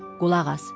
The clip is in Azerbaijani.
Qulaq as!